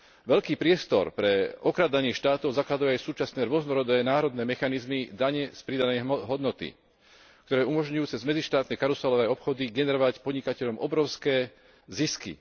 Veľký priestor pre okrádanie štátov zakladajú aj súčasné rôznorodé národné mechanizmy dane z pridanej hodnoty, ktoré umožňujú cez medzištátne karuselové obchody generovať podnikateľom obrovské zisky.